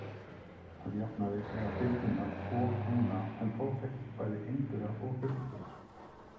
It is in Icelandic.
Að jafnaði eiga birnurnar tvo húna en þó þekkjast bæði einburar og þríburar.